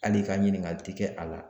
Hali i ka ɲininkali ti kɛ a la